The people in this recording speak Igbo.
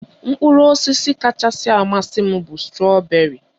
Mkpụrụ osisi kachasị amasị m bụ strọberị